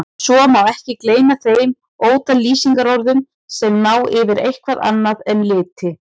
Svo má ekki gleyma þeim ótal lýsingarorðum sem ná yfir eitthvað annað en liti.